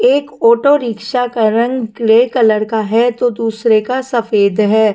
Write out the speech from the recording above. एक auto rickshaw का रंग ग्रे कलर का है तो दूसरे का सफेद है।